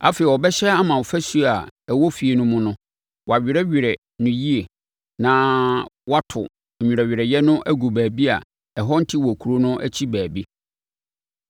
Afei, ɔbɛhyɛ ama afasuo a ɛwɔ efie no mu no, wɔawerɛwerɛ no yie na wɔato nwerɛwerɛeɛ no agu baabi a ɛhɔ nte wɔ kuro no akyi baabi.